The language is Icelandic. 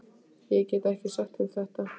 Ég get ekki sagt þeim þetta.